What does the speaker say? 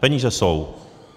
Peníze jsou.